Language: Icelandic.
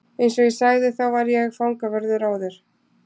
Eins og ég sagði þá var ég fangavörður áður.